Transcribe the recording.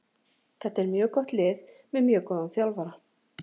Þetta er mjög gott lið með mjög góðan þjálfara.